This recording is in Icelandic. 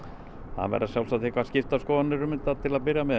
það verða sjálfsagt skiptar skoðanir til að byrja með